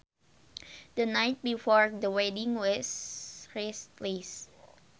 The night before the wedding was restless